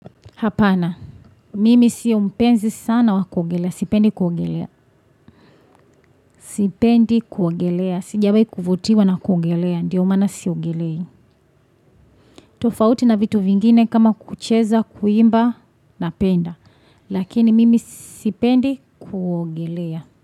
Hapana. Mimi sio mpenzi sana wakuogelea. Sipendi kuogelea. Sipendi kuogelea. Sijawai kuvutiwa na kuogelea. Ndiyo mana siogelei. Tufauti na vitu vingine kama kucheza, kuimba napenda. Lakini mimi sipendi kugelea.